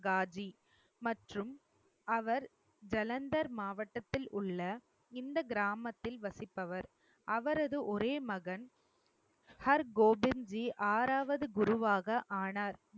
காஜி மற்றும் அவர் ஜலந்தர் மாவட்டத்தில் உள்ள இந்த கிராமத்தில் வசிப்பவர். அவரது ஒரே மகன் ஹர்கோபிந்ஜி ஆறாவது குருவாக ஆனார்